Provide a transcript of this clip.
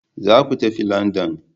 Za ku tafi London!